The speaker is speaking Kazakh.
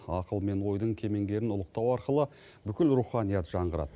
ақыл мен ойдың кемеңгерін ұлықтау арқылы бүкіл руханият жаңғырады